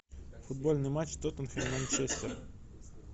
футбольный матч тоттенхэм манчестер